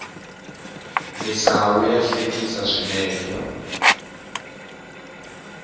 misawu ya hlekisa swinene